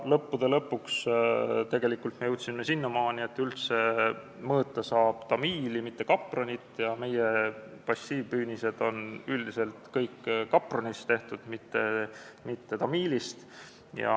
Lõppude lõpuks me jõudsime sinnamaani, et mõõta saab üldse tamiili, mitte kapronit, aga meie passiivpüünised on üldiselt kõik tehtud kapronist, mitte tamiilist.